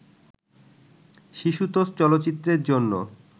শিশুতোষ চলচ্চিত্রের জন্য